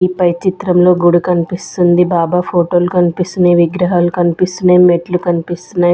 ఈ పైచిత్రంలో గుడి కన్పిస్తుంది బాబా ఫోటోలు కన్పిస్తున్నయ్ విగ్రహాలు కన్పిస్తున్నయ్ మెట్లు కన్పిస్తున్నయ్.